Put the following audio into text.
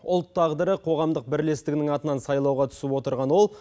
ұлт тағдыры қоғамдық бірлестігінің атынан сайлауға түсіп отырған ол